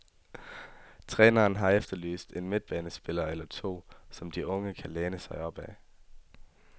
Træneren har efterlyst en midtbanespiller eller to, som de unge kan læne sig opad.